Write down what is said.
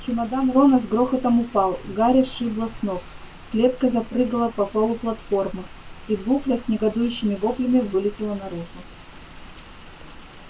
чемодан рона с грохотом упал гарри сшибло с ног клетка запрыгала по полу платформы и букля с негодующими воплями вылетела наружу